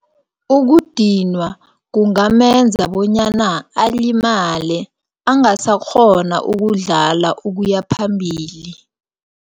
Ukudinwa kungamenza bonyana alimale, angasakghona ukudlala ukuya phambili.